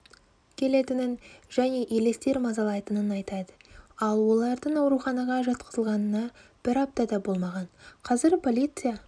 келетінін және елестер мазалайтынын айтады ал олардың ауруханаға жатқызылғанына бір апта да болмаған қазір полиция